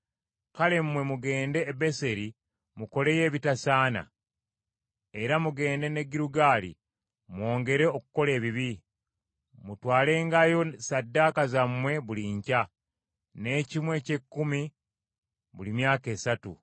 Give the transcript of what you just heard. Kale mmwe mugende e Beseri mukoleyo ebitasaana; era mugende ne Girugaali mwongere okukola ebibi. Mutwalengayo ssaddaaka zammwe buli nkya, n’ekimu eky’ekkumi buli myaka esatu.